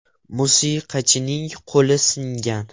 Musiqachining qo‘li singan.